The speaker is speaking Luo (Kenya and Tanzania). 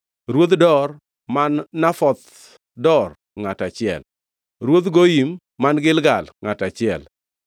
Ruodh Dor (man Nafoth Dor), ngʼato achiel, Ruodh Goyim man Gilgal, ngʼato achiel,